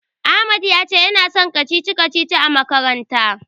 Ahmad ya ce yana son kacici-kacicici a makaranta.